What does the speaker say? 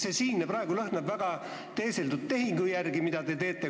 See, mida te praegu teete, lõhnab väga teeseldud tehingu järele.